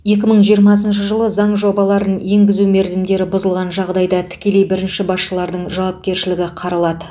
екі мың жиырмасыншы жылы заң жобаларын енгізу мерзімдері бұзылған жағдайда тікелей бірінші басшылардың жауапкершілігі қаралады